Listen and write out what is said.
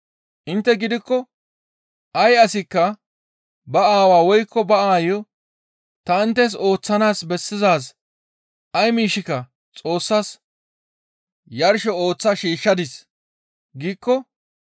Intte gidikko ay asikka ba aawaa woykko ba aayo, ‹Ta inttes ooththanaas bessizaaz ay miishshika Xoossas yarsho ooththa shiishshadis› giikko,